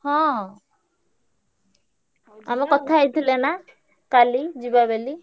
ହଁ। ଆମେ କଥା ହେଇଥିଲେ ନା କାଲି ଯିବା ବେଲି।